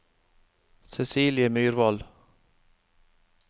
Cecilie Myrvold